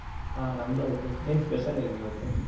ಹಾ ನಮ್ದು ಆಯ್ತು, ಏನ್ special ಏನ್ ಇವತ್ತು?